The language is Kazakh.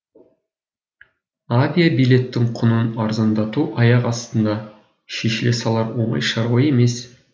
авиабилеттің құнын арзандату аяқ астында шешіле салар оңай шаруа емес